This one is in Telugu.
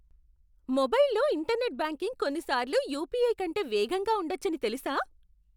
మొబైల్లో ఇంటర్నెట్ బ్యాంకింగ్ కొన్నిసార్లు యుపిఐ కంటే వేగంగా ఉండొచ్చని తెలుసా?